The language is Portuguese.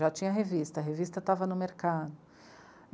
Já tinha revista, a revista estava no mercado.